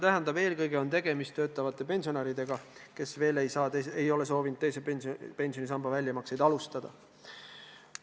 Nende puhul on tegemist eelkõige töötavate pensionäridega, kes veel ei ole soovinud teisest pensionisambast väljamaksete tegemist alustada.